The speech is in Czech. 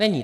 Není.